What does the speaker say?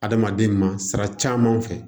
Adamaden ma sira caman fɛ